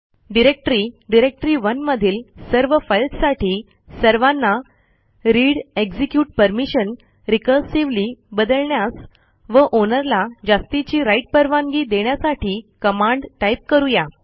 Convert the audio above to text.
directory डायरेक्टरी1 मधील सर्व फाईल्ससाठी सर्वांना readएक्झिक्युट परमिशन रिकर्सिव्हली बदलण्यास व आउनर ला जास्तीची राइट परवानगी देण्यासाठी कमांड टाइप करू या